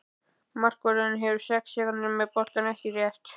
Markvörðurinn hefur sex sekúndur með boltann, ekki rétt?